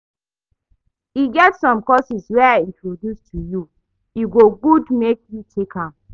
E get some courses wey I introduce to you, e go good make you take am